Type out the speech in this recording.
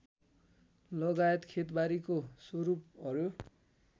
लगायत खेतबारीको स्वरूपहरू